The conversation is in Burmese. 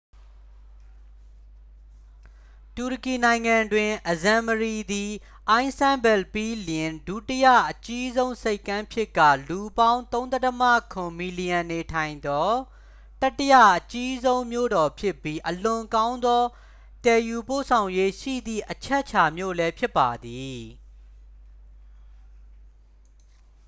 တူရကီနိုင်ငံတွင် အဇမ်မရီ သည်အိုင်စတန်ဘဲလ် ပြီးလျှင် ဒုတိယအကြီးဆုံးဆိပ်ကမ်းဖြစ်ကာ လူပေါင်း 3.7 မီလီယံနေထိုင်သော တတိယအကြီးဆုံးမြို့တော်ဖြစ်ပြီး အလွန်ကောင်းသောသယ်ယူပို့ဆောင်ရေးရှိသည့် အချက်အခြာမြို့လည်းဖြစ်ပါသည်